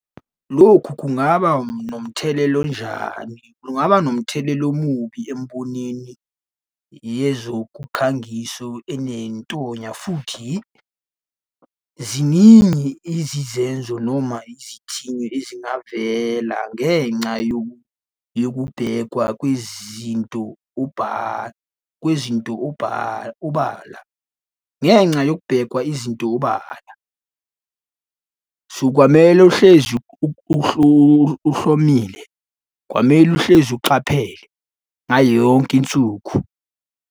Lokhu kungaba nomthelela onjani. Kungaba nomthelela omubi emboneni yezokukhangiso enentonya, futhi ziningi izizenzo noma izithinyo ezingavela ngenca yokubhekwa kwezinto kwezinto ubala. Ngenca yokubhekwa izinto ubala. So, kwamele uhlezi uhlomile, kwamele uhlezi ucaphele ngayo yonke insuku.